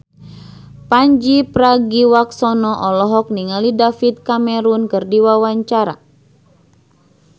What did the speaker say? Pandji Pragiwaksono olohok ningali David Cameron keur diwawancara